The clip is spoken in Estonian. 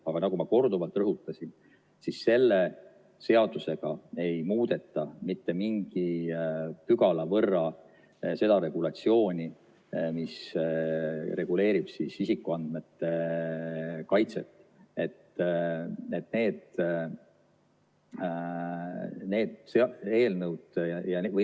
Aga nagu ma korduvalt rõhutasin, siis selle seadusega ei muudeta mitte mingi pügala võrra seda regulatsiooni, mis reguleerib isikuandmete kaitset.